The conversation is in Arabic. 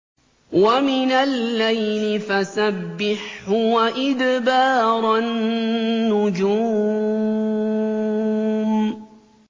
وَمِنَ اللَّيْلِ فَسَبِّحْهُ وَإِدْبَارَ النُّجُومِ